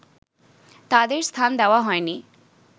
তাঁদের স্থান দেওয়া হয়নি